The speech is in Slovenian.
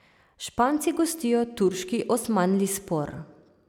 Španci gostijo turški Osmanlispor.